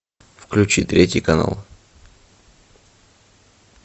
включи третий канал